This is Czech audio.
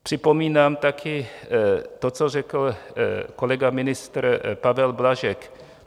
Připomínám také to, co řekl kolega ministr Pavel Blažek.